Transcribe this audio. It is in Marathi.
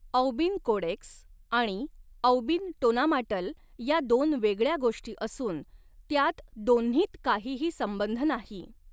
औबिन कोडेक्स आणि औबिन टोनामाट्ल ह्या दोन वेगळ्या गोष्टी असून त्यात दोन्हींत काहीही संबंध नाही.